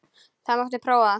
Það mátti prófa það.